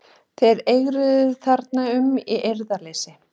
Þeir eigruðu þarna um í reiðuleysi.